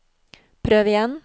prøv igjen